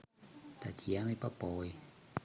татьяны поповой